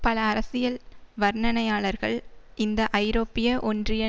பல அரசியல் வர்ணனையாளர்கள் இந்த ஐரோப்பிய ஒன்றிய